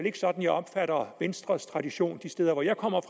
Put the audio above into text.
ikke sådan jeg opfatter venstres tradition de steder hvor jeg kommer